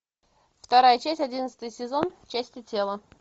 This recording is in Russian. вторая часть одиннадцатый сезон части тела